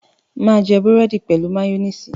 máa jé Búrẹ́di pẹlú mayonnaise.